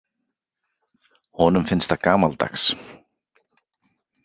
Honum finnst það gamaldags.